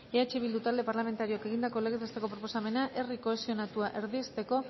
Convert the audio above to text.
eh bildu talde parlamentarioak egindako legez besteko proposamena herri kohesionatua erdiesteko